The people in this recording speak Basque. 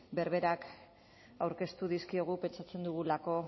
berberak aurkeztu dizkiogu pentsatzen dugulako